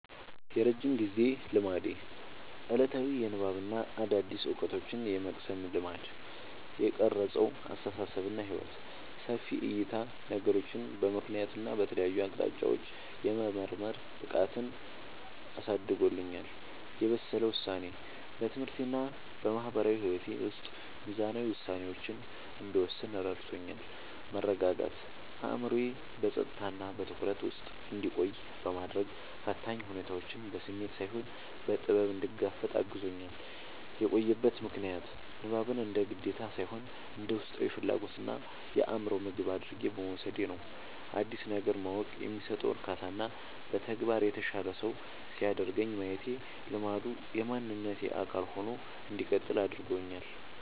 የረጅም ጊዜ ልማዴ፦ ዕለታዊ የንባብና አዳዲስ ዕውቀቶችን የመቅሰም ልማድ። የቀረጸው አስተሳሰብና ሕይወት፦ ሰፊ ዕይታ፦ ነገሮችን በምክንያትና በተለያዩ አቅጣጫዎች የመመርመር ብቃትን አሳድጎልኛል። የበሰለ ውሳኔ፦ በትምህርቴና በማህበራዊ ሕይወቴ ውስጥ ሚዛናዊ ውሳኔዎችን እንድወስን ረድቶኛል። መረጋጋት፦ አእምሮዬ በጸጥታና በትኩረት ውስጥ እንዲቆይ በማድረግ፣ ፈታኝ ሁኔታዎችን በስሜት ሳይሆን በጥበብ እንድጋፈጥ አግዞኛል። የቆየበት ምክንያት፦ ንባብን እንደ ግዴታ ሳይሆን እንደ ውስጣዊ ፍላጎትና የአእምሮ ምግብ አድርጌ በመውሰዴ ነው። አዲስ ነገር ማወቅ የሚሰጠው እርካታና በተግባር የተሻለ ሰው ሲያደርገኝ ማየቴ ልማዱ የማንነቴ አካል ሆኖ እንዲቀጥል አድርጎታል።